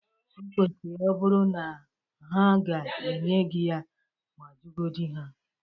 O kwesiri ọbụrụ na ha ga-enye gị ya. Ma juogodi ha.